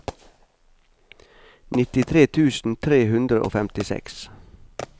nittitre tusen tre hundre og femtiseks